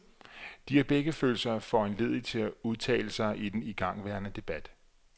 De har begge følt sig foranlediget til at udtale sig i den igangværende debat.